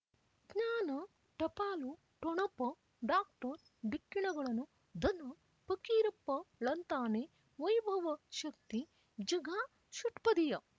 ಜ್ಞಾನ ಟಪಾಲು ಠೊಣಪ ಡಾಕ್ಟರ್ ಢಿಕ್ಕಿ ಣಗಳನು ಧನು ಪಕೀರಪ್ಪ ಳಂತಾನೆ ವೈಭವ ಶಕ್ತಿ ಝಗಾ ಷಟ್ಪದಿಯ